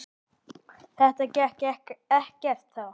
Þetta gekk ekkert þá.